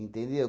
Entendeu?